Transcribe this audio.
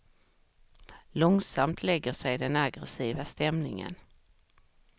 Långsamt lägger sig den aggressiva stämningen.